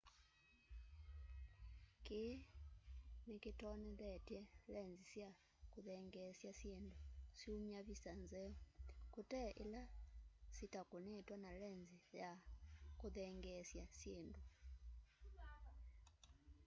kii ni kitonyethyete lenzi sya kuthengeesya syindũ syũmya visa nzeo kũte ila syitakunitwe na lenzi ya kuthengeesya syindu